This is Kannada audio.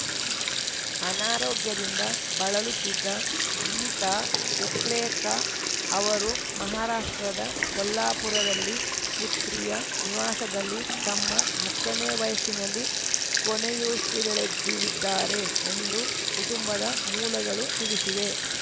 ಅನಾರೋಗ್ಯದಿಂದ ಬಳಲುತ್ತಿದ್ದ ಗೀತಾ ಉಪ್ಲೇರ್‌ಕಾ ಅವರು ಮಹಾರಾಷ್ಟ್ರದ ಕೊಲ್ಲಾಪುರದಲ್ಲಿ ಪುತ್ರಿಯ ನಿವಾಸದಲ್ಲಿ ತಮ್ಮ ಹತ್ತನೇ ವಯಸ್ಸಿನಲ್ಲಿ ಕೊನೆಯುಸಿರೆಳೆದಿದ್ದಾರೆ ಎಂದು ಕುಟುಂಬದ ಮೂಲಗಳು ತಿಳಿಸಿವೆ